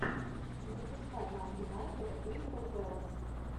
запускай нам юнайтед кристал пэлас